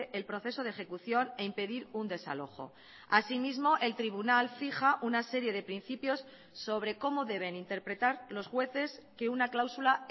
el proceso de ejecución e impedir un desalojo asimismo el tribunal fija una serie de principios sobre cómo deben interpretar los jueces que una cláusula